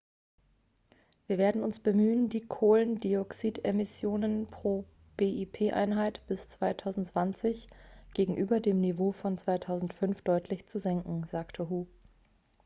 wir werden uns bemühen die kohlendioxidemissionen pro bip-einheit bis 2020 gegenüber dem niveau von 2005 deutlich zu senken sagte hu